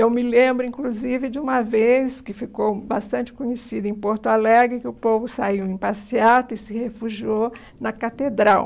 Eu me lembro, inclusive, de uma vez que ficou bastante conhecida em Porto Alegre, que o povo saiu em passeata e se refugiou na catedral.